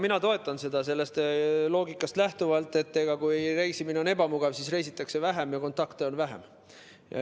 Mina toetan seda sellest loogikast lähtuvalt, et kui reisimine on ebamugav, siis reisitakse vähem ja kontakte on vähem.